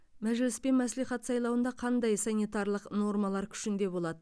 мәжіліс пен мәслихат сайлауында қандай санитарлық нормалар күшінде болады